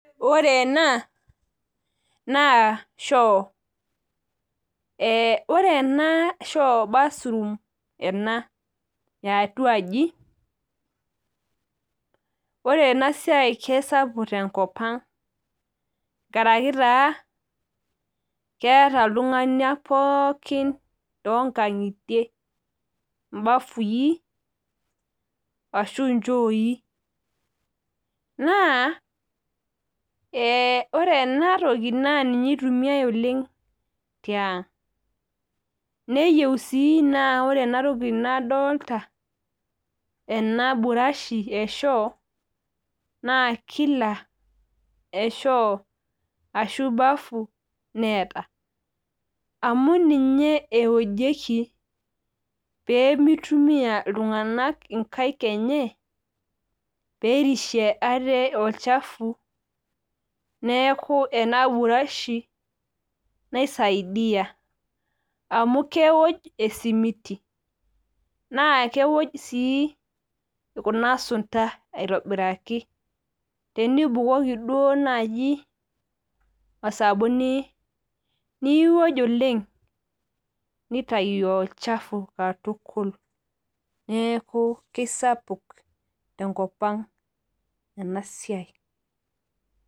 Ore ena naa choo ore ena naa bathroom ena eetatuaji ore ena siai naa kisapuk tenkopang' enkaraki taa naa keeta iltung'anak pooki too inkang'itie ibafui ,ashu ichooi, naa ore ena toki naa ninye itumiyai oleng' tiang' neyieu sii naa ore ena toki nadoolta ena burashi eshoo, naa kila shoo ashu bafu neeta amu ninye ewojieki pee mitumiya iltung'anak inkaek enye pee erishe ate olchafu neeku ena burashi naisaidia amu kewoj esimiti, naa kewoj sii kuna sunda aitobiraki, tenibukoki duo naaji osabuni niwoj oleng nitayu olchafu pooki katukul neeku kisapuk tenkopang' ena siai.